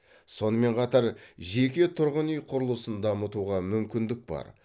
сонымен қатар жеке тұрғын үй құрылысын дамытуға мүмкіндік бар